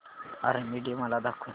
army Day मला दाखव